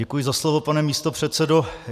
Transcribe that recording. Děkuji za slovo, pane místopředsedo.